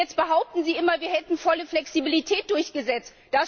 Und jetzt behaupten Sie immer, wir hätten volle Flexibilität durchgesetzt.